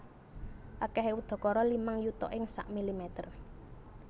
Akèhé udakara limang yuta ing sak milimeter